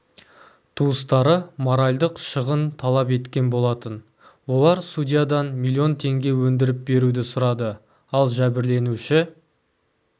туыстары моральдық шығын талап еткен болатын олар судьядан миллион теңге өндіріп беруді сұрады ал жәбірленуші